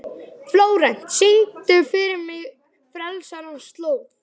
Flórent, syngdu fyrir mig „Frelsarans slóð“.